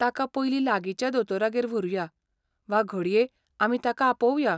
ताका पयलीं लागींच्या दोतोरागेर व्हरूया, वा घडये आमी ताका आपोवया.